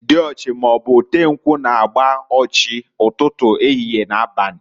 Diochi maọbụ otenkwu, na-agba ochi, ụtụtụ, ehihie, na abali.